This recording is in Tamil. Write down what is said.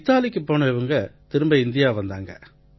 இத்தாலிக்குப் போன இவங்க திரும்ப இந்தியா வந்தாங்க